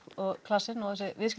klasinn og